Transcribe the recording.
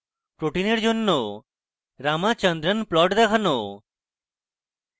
protein জন্য ramachandran plot দেখানো